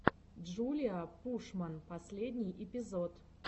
джулиа пушман последний эпизод